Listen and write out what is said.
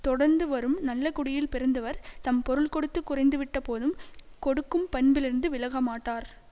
தொடர்ந்து வரும் நல்ல குடியில் பிறந்தவர் தம் பொருள் கொடுத்து குறைந்துவிட்டபோதும் கொடுக்கும் பண்பிலிருந்து விலகமாட்டார்